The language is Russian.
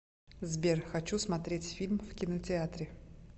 сбер хочу смотреть фильм в кинотеатре